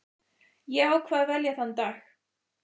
Ég ákvað að velja þann dag.